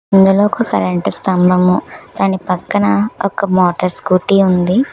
ఇందులో ఒక కరెంటు స్తంభము దాని పక్కన ఒక మోటార్ స్కూటీ ఉంది.